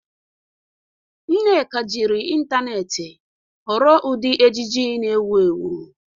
Nneka jiri ịntanetị họrọ ụdị ejiji na-ewu ewu.